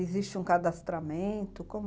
Existe um cadastramento? como?